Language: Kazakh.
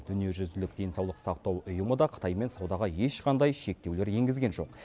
дүниежүзілік денсаулық сақтау ұйымы да қытаймен саудаға ешқандай шектеулер енгізген жоқ